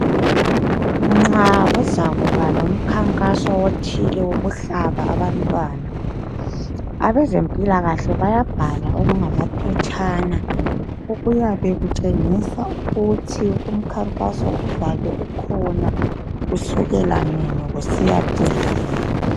Nxa kuzakuba lomkhankaso othile wokuhlaba abantwana. Abezempilakahle bayabhala okungamaphetshana, okuyabe kutshengisa ukuthi umkhankaso, uzabe ukhona kusukela nini. Usiyacina nini.